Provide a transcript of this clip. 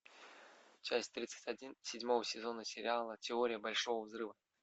часть тридцать один седьмого сезона сериала теория большого взрыва